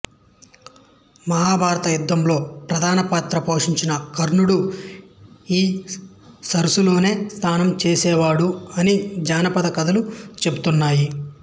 మహాభారత యుద్ధంలో ప్రధాన పాత్ర పోషించిన కర్ణుడు ఈ సరస్సులోనే స్నానం చేసేవాడు అని జానపద కథలు చెబుతున్నాయి